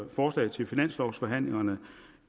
forslag til finanslovforhandlingerne